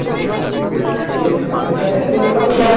হ্যাঁ. তো বলছে কাদের কাছে তোর photo?